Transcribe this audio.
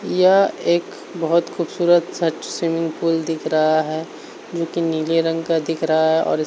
यह एक बहोत खूबसूरत सा स्विमिंग पूल दिख रहा है जो कि नीले रंग का दिख रहा है और इस --